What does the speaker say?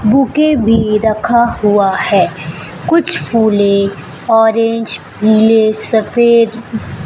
bouquet भी रखा हुआ है कुछ फूले ऑरेंज पीले सफेद--